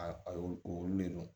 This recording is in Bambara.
A olu olu de don